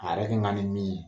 A yɛrɛ kɛ kan ka ni min ye